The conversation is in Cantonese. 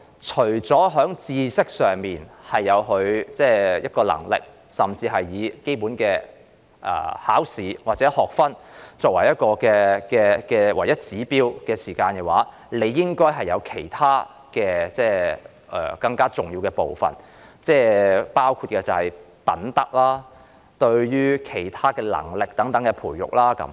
除了知識上的能力或以基本的考試或學分作為唯一指標外，還有其他更重要的部分，包括品德及其他能力的培育。